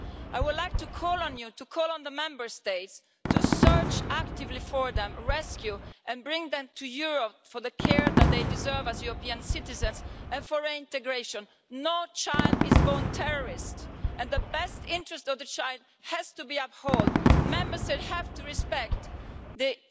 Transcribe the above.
I would like to call on you to call on the Member States to search actively for them, rescue and bring them to Europe for the care that they deserve as European citizens and for reintegration. No child is born a terrorist, and the best interest of the child has to be upheld. Member States have to respect the